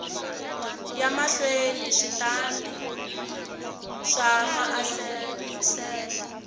ya mahlweni switandati swa maasesele